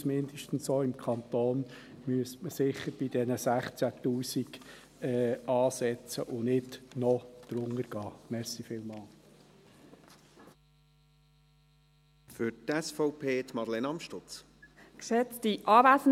Wir denken, mindestens im Kanton müsste man sicher bei diesen 16 000 Franken ansetzen und nicht noch tiefer gehen.